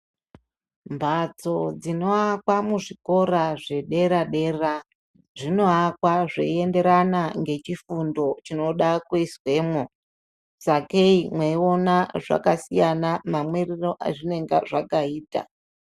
Mphatso dzinowaka muzvikora zvedera dera, zvinowaka zveienderana nechifundo chinoda kuizwemwo. Sakei mweiona zvakasiyana mamiriro ezvinenge zvakaita.